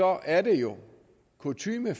er det jo kutyme